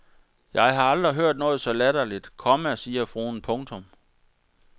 Jeg har aldrig hørt noget så latterligt, komma siger fruen. punktum